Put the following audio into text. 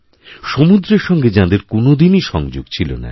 সমুদ্রের সঙ্গে যাঁদের কোনোদিনইসংযোগ ছিল না